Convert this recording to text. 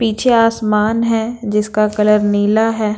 पीछे आसमान है जिसका कलर नीला है।